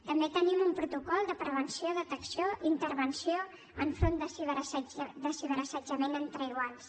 també tenim un protocol de prevenció detecció i intervenció enfront de ciberassetjament entre iguals